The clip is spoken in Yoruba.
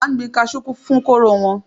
A n gbin kasú fún kóró wọn.